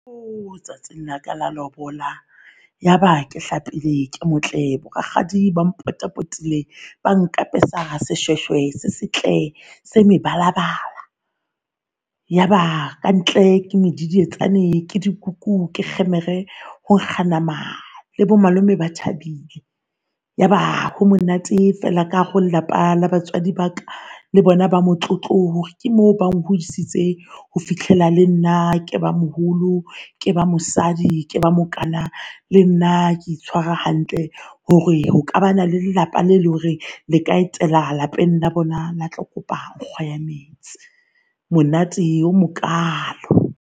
Tsatsing la ka la lobola, yaba ke hlapile ke motle bo rakgadi ba potapotile. Ba nkapesa seshweshwe se setle se mebala. Yaba ka ntle ke medidietsane, ke dikuku, ke kgemere, ho nka nama le bo malome ba thabile. Yaba ho monate fela ka hara ho lelapa la batswadi ba ka le bona, ba motlotlo hore ke mo ba hodisitse ho fihlela le nna ke ba moholo, ke ba mosadi, ke ba mokana, le nna ke itshwara hantle hore ho ka bana le lelapa le leng hore le ka etela lapeng la bona le tlo kopa nkgo ya metsi. Monate o mokalo.